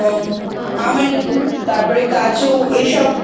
Almond তারপর কাজু এসব